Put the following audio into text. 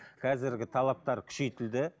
қазіргі талаптар күшейтілді